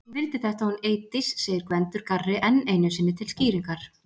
Hún vildi þetta hún Eydís segir Gvendur garri enn einu sinni til skýringar.